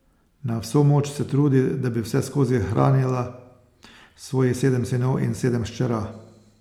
Na vso moč se trudi, da bi vseskozi hranila svojih sedem sinov in sedem hčera.